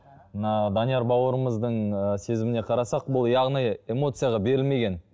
мына данияр бауырымыздың ы сезіміне қарасақ бұл яғни эмоцияға берілмеген